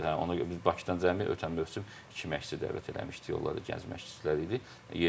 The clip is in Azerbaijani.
Hə, ona görə biz Bakıdan cəmi ötən mövsüm iki məşqçi dəvət eləmişdik, onlar da gənc məşqçilər idi.